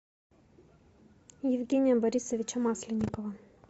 евгения борисовича масленникова